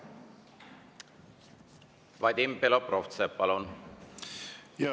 Vadim Belobrovtsev, palun!